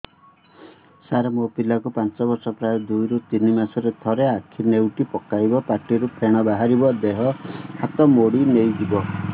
ସାର ମୋ ପିଲା କୁ ପାଞ୍ଚ ବର୍ଷ ପ୍ରାୟ ଦୁଇରୁ ତିନି ମାସ ରେ ଥରେ ଆଖି ନେଉଟି ପକାଇବ ପାଟିରୁ ଫେଣ ବାହାରିବ ଦେହ ହାତ ମୋଡି ନେଇଯିବ